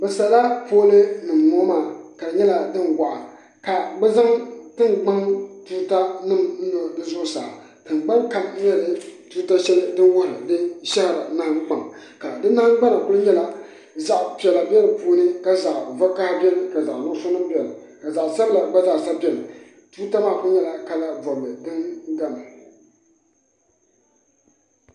Noba yaga la be kyɛ, a noba yarɛ kpare iri iri mine fɔle la zupil kyɛ mine ba fɔle zupil, mine taa la boma ba naŋ sɛge eŋ daare poɔ ka ba de teɛ saazuŋ, a sɛgere mine waa ziiri kyɛ ka mine waa sɔglɔ kyɛ ka ba de teɛ saazu a are ne.